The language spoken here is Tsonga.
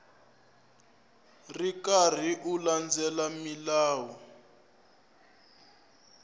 ri karhi u landzelela milawu